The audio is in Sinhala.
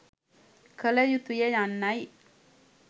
කළ යුතුය යන්නයි